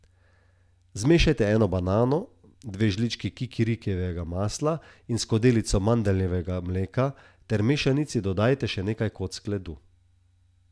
Zmešajte eno banano, dve žlički kikirikijevega masla in skodelico mandljevega mleka ter mešanici dodajte še nekaj kock ledu.